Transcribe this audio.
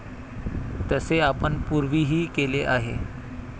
तसे आपण पूर्वीही केले आहे.